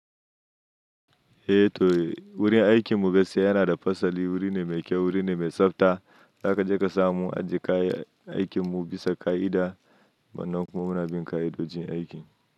Eh to, wurin aikin mu gaskiya yana da fasali. Wuri ne mai kyau, wuri ne mai tsafta. Zaka ji ka samu ajiye kayan aikin mu bisa ƙa'ida. Wanan kuma muna bin ƙa'idojin aiki.